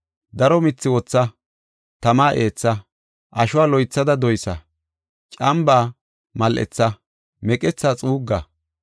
Daro mithi wotha; tama eetha. Ashuwa loythada doysa; cambaa mal7etha; meqetha xuugga.